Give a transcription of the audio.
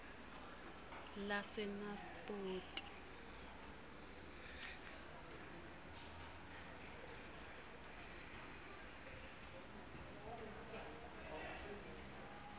lasenaspoti